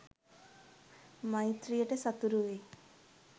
මෛත්‍රියට සතුරු වෙයි.